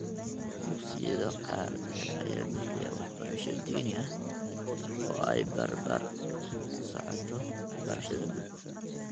Dugsiyada qaar ee ayaa bixiya waxbarasho diini ah oo ay barbar socoto waxbarashada guud.